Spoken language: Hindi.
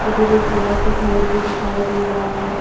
उधर एक बड़ा सा घर भी दिखाई दे रहा है।